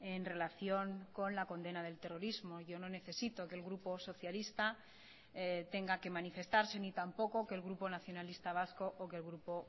en relación con la condena del terrorismo yo no necesito que el grupo socialista tenga que manifestarse ni tampoco que el grupo nacionalista vasco o que el grupo